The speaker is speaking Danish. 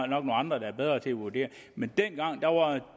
nogle andre der er bedre til at vurdere men dengang